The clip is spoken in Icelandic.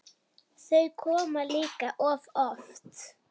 Þau koma líka of oft.